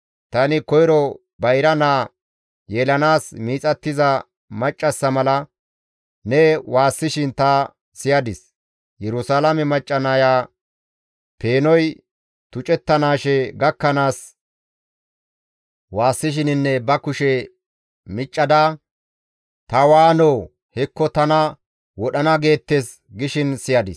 Tani koyro bayra naa yelanaas miixattiza maccassa mala ne waassishin ta siyadis; Yerusalaame macca naya peenoy tucettanaashe gakkanaas waassishininne ba kushe miccada, «Ta waanoo! Hekko tana wodhana geettes!» gishin siyadis.